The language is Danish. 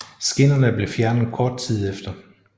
Skinnerne blev fjernet kort tid efter